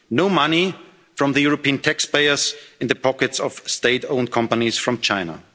rules. No money from European taxpayers in the pockets of State owned companies from